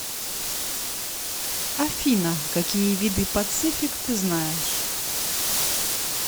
афина какие виды пацифик ты знаешь